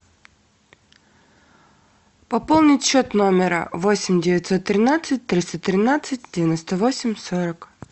пополнить счет номера восемь девятьсот тринадцать триста тринадцать девяносто восемь сорок